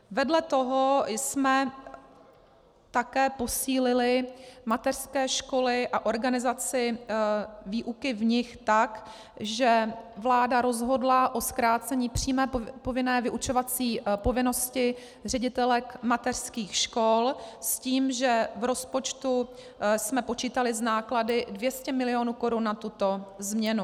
Vedle toho jsme také posílili mateřské školy a organizaci výuky v nich tak, že vláda rozhodla o zkrácení přímé povinné vyučovací povinnosti ředitelek mateřských škol s tím, že v rozpočtu jsme počítali s náklady 200 mil. korun na tuto změnu.